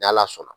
N'ala sɔnna